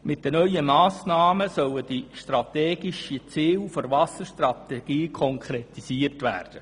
Mit den neuen Massnahmen sollen die strategischen Ziele der Wasserstrategie konkretisiert werden.